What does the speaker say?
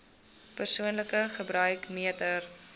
persoonlike gebruik meter